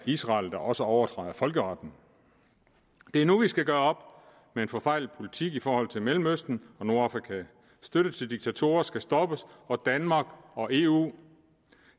israel der også overtræder folkeretten det er nu vi skal gøre op den forfejlede politik i forhold til mellemøsten og nordafrika støtten til diktatorer skal stoppes og danmark og eu